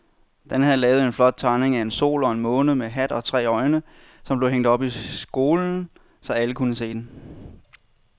Dan havde lavet en flot tegning af en sol og en måne med hat og tre øjne, som blev hængt op i skolen, så alle kunne se den.